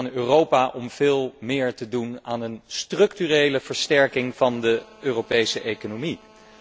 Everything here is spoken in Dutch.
Het is aan Europa om veel meer te doen aan een structurele versterking van de Europese economie.